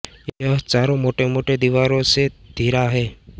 यह चारोँ मोटे मोटे दिवारो से घीरा हैं